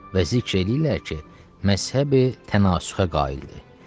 Və zikr eləyirlər ki, məzhəbi tənasüxə qaildir.